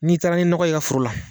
N'i taara ni nɔgɔ ye i ka foro la